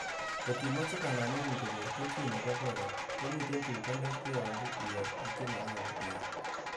Kot imoche kanamengung konyor kelchin nebo borot, komiten tuguk alak che nyolu iyai, ak che monyolu iyoe.